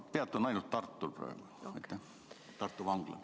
Ma peatun ainult Tartul praegu, Tartu Vanglal.